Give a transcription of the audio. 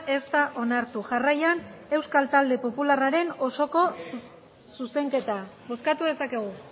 ez da onartu jarraian euskal talde popularraren osoko zuzenketa bozkatu dezakegu